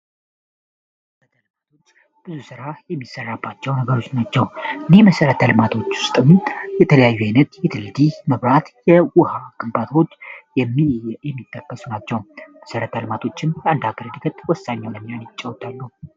በተልማቶች ብዙ ሥራ የሚሰራባቸው ነገሮች ናቸው እኔህ መሠረት አልማቶች ውስጠሚ የተለያዩ አይነት የትልዲህ መብራት የውሃ አቅንባትዎች የሚየሚጠከሱ ናቸው መሰረት አልማቶችም የአንድአክር ድገት ወሳኛው ለኛ ንይጫውታሉ